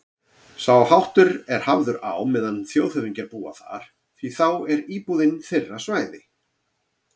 Sá háttur er hafður á meðan þjóðhöfðingjar búa þar, því þá er íbúðin þeirra svæði